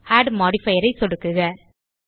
add modifier ஐ சொடுக்குக